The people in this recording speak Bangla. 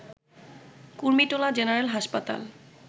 কুর্মিটোলা জেনারেল হাসপাতাল